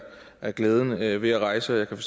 er glæden ved ved at rejse og jeg kan